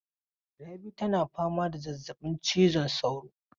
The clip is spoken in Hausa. Rabi tana fama da zazzabin cizon saura.